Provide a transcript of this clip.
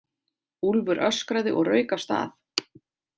Úlfur öskraði og rauk af stað.